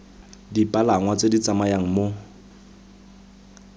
dipalangwa tse di tsamayang mo